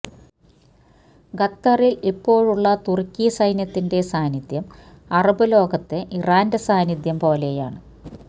ഖത്തറിൽ ഇപ്പോഴുള്ള തുർക്കി സൈന്യത്തിന്റെ സാന്നിധ്യം അറബ് ലോകത്തെ ഇറാന്റെ സാന്നിധ്യം പോലെയാണ്